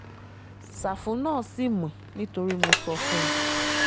ṣáfù náà ṣì mọ́ nítorí mo sọ fún un